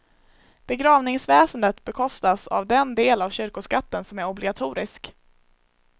Begravningsväsendet bekostas av den del av kyrkoskatten som är obligatorisk.